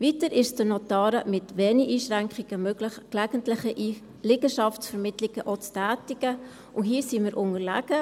Weiter ist es den Notaren mit wenigen Einschränkungen möglich, auch gelegentliche Liegenschaftsvermittlungen zu tätigen, und hier sind wir unterlegen.